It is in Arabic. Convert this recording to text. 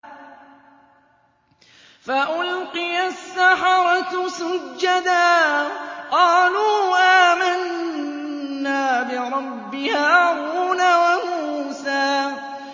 فَأُلْقِيَ السَّحَرَةُ سُجَّدًا قَالُوا آمَنَّا بِرَبِّ هَارُونَ وَمُوسَىٰ